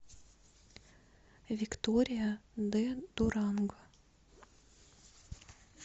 виктория де дуранго